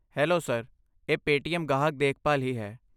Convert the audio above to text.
Hello sir, ਇਹ Paytm ਗਾਹਕ ਦੇਖਭਾਲ ਹੀ ਹੈ।